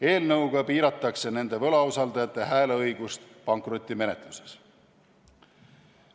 Eelnõuga piiratakse nende võlausaldajate hääleõigust pankrotimenetluses.